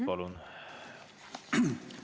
Palun!